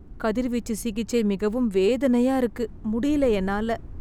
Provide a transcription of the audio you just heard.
கதிர்வீச்சு சிகிச்சை மிகவும் வேதனையா இருக்கு முடியல என்னால